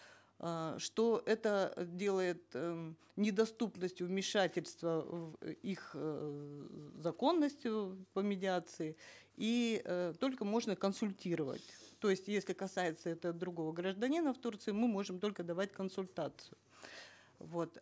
э что это делает э недоступностью вмешательство в их эээ законность э по медиации и э только можно консультировать то есть если касается это другого гражданина в турции мы можем только давать консультацию вот